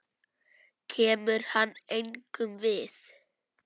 Kemur hann engum við?